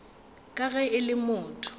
ka ge e le motho